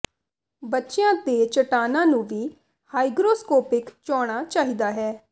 ਬੱਚਿਆਂ ਦੇ ਚਟਾਨਾਂ ਨੂੰ ਵੀ ਹਾਈਗਰੋਸਕੌਪਿਕ ਹੋਣਾ ਚਾਹੀਦਾ ਹੈ